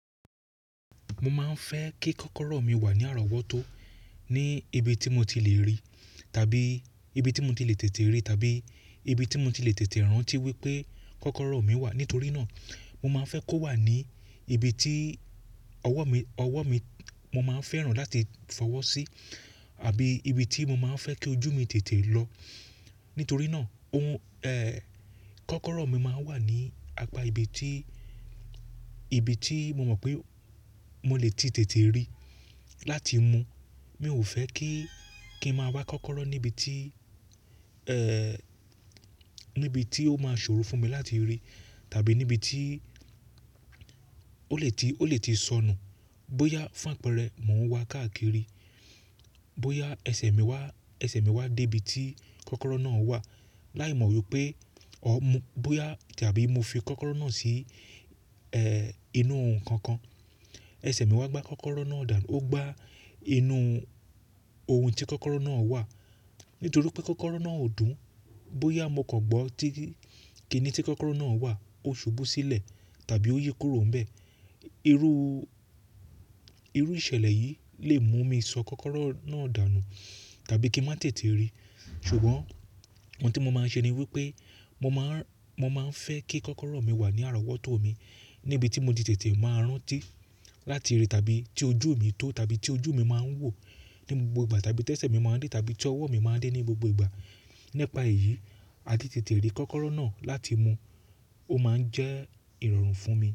Mo máa ń fẹ́ kí kọ́kọ́rọ́ mi wà ní arọwọ́tó, ní ibi tí mo ti le rí, tàbí ibi tí mo ti le tètè rí, tàbí ibi tí mo ti le tètè rántí wípé kọ́kọ́rọ́ mi wà. Nítorí náà, mo máa ń fẹ́ kó wà ní ibi tí ọwọ́ mi, ọwọ́ mi mo máa ń fẹ́ràn láti fọwọ́ sí, àbí ibi tí mo máa ń fẹ́ kí ojú mi tètè lọ. Nítorí náà, òhún ẹ́, kọ́kọ́rọ́ mi máa ń wà ní apá ibi tí, ibi tí mo mọ̀ pé mo lè ti tètè rí láti mu. Mi ò fẹ́ kí, kí ń máa wá kọ́kọ́rọ́ níbi tí ẹ́, níbi tí ó máa ṣòro fún mi láti rí, tàbí níbi tí ó lè ti, ó lè ti sọnù. Bóyá fún àpẹẹrẹ, mò ń wá káàkiri, bóyá ẹsẹ̀ mi wá, ẹsẹ̀ mi wá dé ibi tí kọ́kọ́rọ́ náà wà, láìmọ̀ wípé ó mú, bóyá tàbí mo fi kọ́kọ́rọ́ náà sí ẹ́ inú ohun kan kan. Ẹsẹ̀ mi wá gbá kọ́kọ́rọ́ náà dànù, ó gbá inú ohun tí kọ́kọ́rọ́ náà wà. Nítorí pé kọ́kọ́rọ́ náà ò dùn, bóyá mo kan gbọ́ tí, ki ni tí kọ́kọ́rọ́ náà wà, ó ṣubú sílẹ̀ tàbí ó yí kúrò ńbẹ. Irú, irú ìṣẹ̀lẹ̀ yìí lè mú mi sọ kọ́kọ́rọ́ náà dànù tàbí kí n má tètè rí. Ṣùgbọ́n ohun tí mo máa ń ṣe ni wípé mo máa ń, mo máa ń fẹ́ kí kọ́kọ́rọ́ mi wà ní arọwọ́tó mi níbi tí mo ti tètè máa ń rántí láti rí, tàbí tí ojú mi tó, tàbí tí ojú mi máa ń wò ní gbogbo ìgbà, tàbí tẹ́sẹ̀ mi máa ń dé, tàbí tí ọwọ́ mi máa ń dé ní gbogbo ìgbà. Nipa èyí, a ti tètè rí kọ́kọ́rọ́ náà láti mu. Ó máa ń jẹ́ ìrọ̀rùn fún mi.